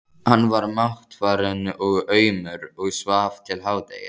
Hann var máttfarinn og aumur og svaf til hádegis.